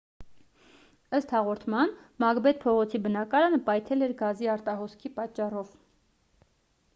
ըստ հաղորդման մակբեթ փողոցի բնակարանը պայթել էր գազի արտահոսքի պատճառով